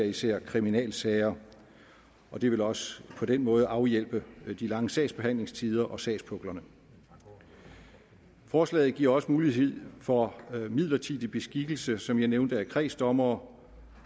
især kriminalsager det vil også på den måde afhjælpe de lange sagsbehandlingstider og sagspuklerne forslaget giver også mulighed for midlertidig beskikkelse som jeg nævnte af kredsdommere